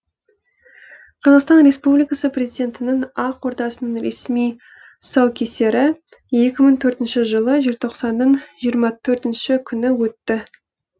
қазақстан республикасы президентінің ақ ордасының ресми тұсаукесері екі мың төртінші жылы желтоқсанның жиырма төртінші күні өтті